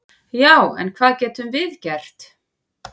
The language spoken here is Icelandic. """Já, en hvað getum við gert?"""